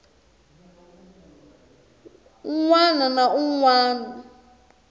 wana na wun wana a